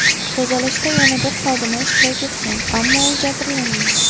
Tozalashda yana bir xodima ishtirok etgan, ammo u jabrlanmadi.